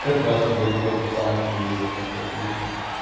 как раз недалеко от руслановки есть одна церквушка